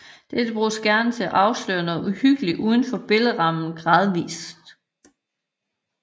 Dette bruges gerne til at afsløre noget uhyggeligt uden for billedrammen gradvist